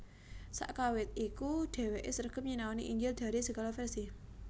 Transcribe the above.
Sakawit iku dheweke sregep nyinaoni injil dari segala versi